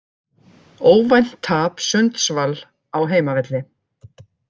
Óvænt tap Sundsvall á heimavelli